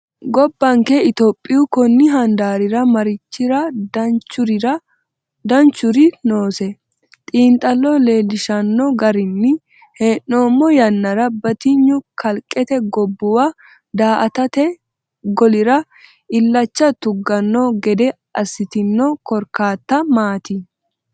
Gobbanke Itiyophiyu konni handaarira mariachi danchurichi noose? Xiinxallo leellishshanno garinni hee’noommo yannara batinye kalqete gobbuwa daa”atate golira illacha tugganno gede assitino korkaatta maati?